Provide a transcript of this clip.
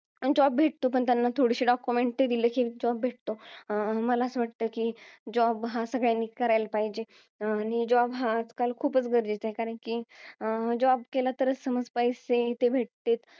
Job भेटतो. पण त्यांना थोडीशी document दिली कि job भेटतो. अं मला असं वाटतं कि, job हा सगळ्यांनी करायला पाहिजे. आणि job हा आजकाल खूप गरजेचा आहे. कारण कि, अं job केला तरच पैसे भेटतील.